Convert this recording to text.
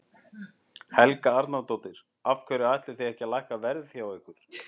Helga Arnardóttir: Af hverju ætlið þið ekki að lækka verð hjá ykkur?